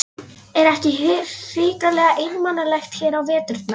Er ekki hrikalega einmanalegt hér á veturna?